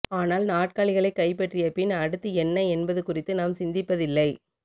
ஆனால் நாற்காலிகளைக் கைப்பற்றிய பின் அடுத்து என்ன என்பது குறித்து நாம் சிந்திப்பதில்லை